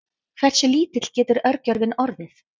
hversu lítill getur örgjörvinn orðið